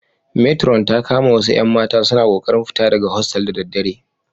Meturon ta kama wasu 'yan mata suna kokarin fita daga hostel da daddare.